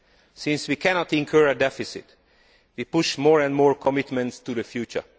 Since we cannot incur a deficit, we push more and more commitments to the future.